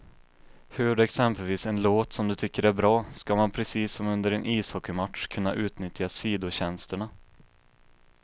Hör du exempelvis en låt som du tycker är bra, ska man precis som under en ishockeymatch kunna utnyttja sidotjänsterna.